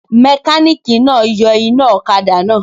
Mẹkánìkì náà yọ iná ọ̀kadà náà